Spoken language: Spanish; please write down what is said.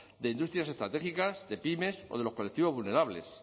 de industrias estratégicas de pymes o de los colectivos vulnerables